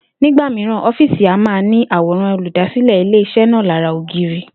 Nígbà mìíràn, ó̩fíìsì máa n ní àwòrán olùdásílè̩ ilé-is̩é̩ náà lára ògiri